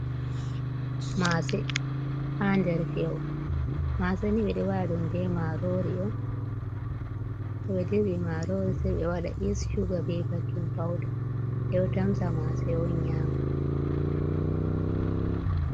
Mase ha nder feho, mase ni ɓe ɗo waɗa ɗum be marori on to ɓe dirɓi marori sai ɓe waɗa yis, sugar, ɓe baking powda, ɓe ɗo tamsa mase on nyama.